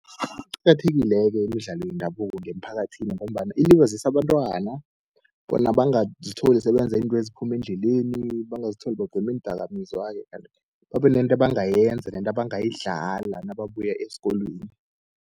Iqakathekile-ke imidlalo yendabuko ngemphakathini, ngombana ilibazisa abantwana bona bangazitholi sebenza izinto eziphuma endleleni, bangazitholi bagoma iindakamizwa-ke. Kanti babe nento ebangayenza nento ebangayidlala nababuya esikolweni.